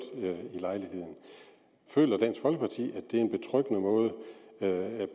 i lejligheden føler dansk folkeparti at det er en betryggende måde